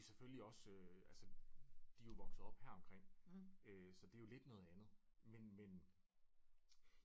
De er selvfølgelig også øh altså de er jo vokset op heromkring øh så det er jo lidt noget andet men men